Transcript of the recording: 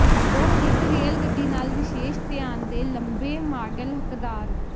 ਉਹ ਇੱਕ ਰੇਲ ਗੱਡੀ ਨਾਲ ਵਿਸ਼ੇਸ਼ ਧਿਆਨ ਦੇ ਲੰਬੇ ਮਾਡਲ ਹੱਕਦਾਰ